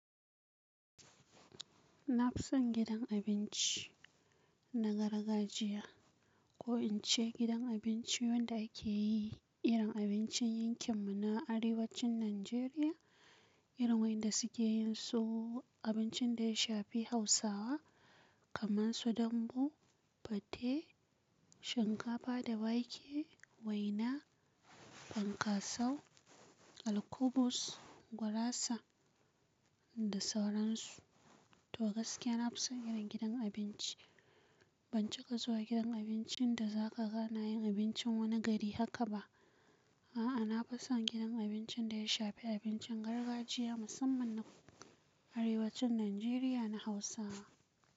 Na fi son gidan abinci na gargajiya, ko in ce gidan abinci wanda a ke yi irin abincin yankin mu na Arewacin Najeriya, irin wanda suke yin so abincin da ya shafi Hausawa kamar su dambu, fate, shinkafa da wake, waina, fankasau, alkubus, gurasa da sauran su. To gaskiya, na fi son irin gidan abinci. Ban cika zuwa gidan abincin da za ka ga na yin abincin wani gari haka ba. A'a, na fi son gidan abincin da ya shafe abincin gargajiya musamman na Arewacin Najeriya na Hausawa.